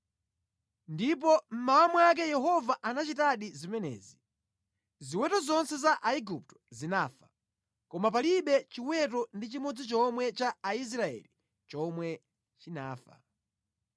Ndipo mmawa mwake Yehova anachitadi zimenezi. Ziweto zonse za Aigupto zinafa, koma palibe chiweto ndi chimodzi chomwe cha Aisraeli chomwe chinafa.